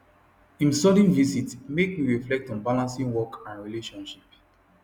him sudden visit make me reflect on balancing work and relationship